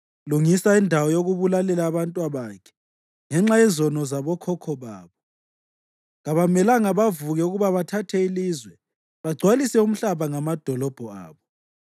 Lungisa indawo yokubulalela abantwabakhe ngenxa yezono zabokhokho babo. Kabamelanga bavuke ukuba bathathe ilizwe bagcwalise umhlaba ngamadolobho abo.